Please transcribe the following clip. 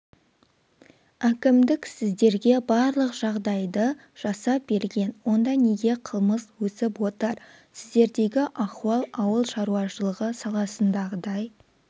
әкімдік сіздерге барлық жағдайды жасап берген онда неге қылмыс өсіп отыр сіздердегі ахуал ауыл шаруашылығы саласындағыдай